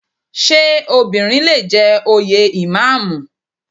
Ṣé obìnrin lè jẹ òye Ìmáàmù?